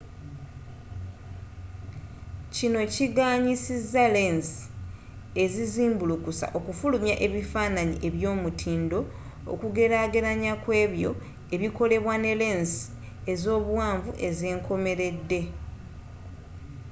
kino kiganyiza lensi ezizimbulukusa okufulumya ebifaananyi eby'omutindo okugelagelanya kw'ebyo ebikolebwa ne lensi ezobuwanvu obwenkomeredde